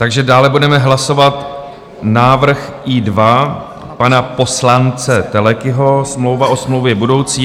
Takže dále budeme hlasovat návrh I2 pana poslance Telekyho - smlouva o smlouvě budoucí.